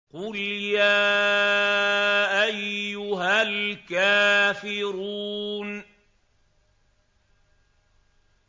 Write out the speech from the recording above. قُلْ يَا أَيُّهَا الْكَافِرُونَ